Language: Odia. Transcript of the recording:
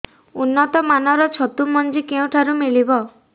ଉନ୍ନତ ମାନର ଛତୁ ମଞ୍ଜି କେଉଁ ଠାରୁ ମିଳିବ